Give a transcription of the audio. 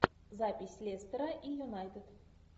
запись лестера и юнайтед